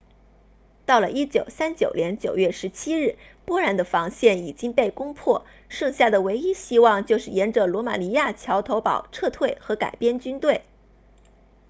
到了1939年9月17日波兰的防线已经被攻破剩下的唯一希望就是沿着罗马尼亚桥头堡撤退和改编军队